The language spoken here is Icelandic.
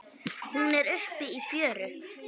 Hún er uppi í fjöru.